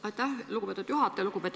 Aitäh, lugupeetud juhataja!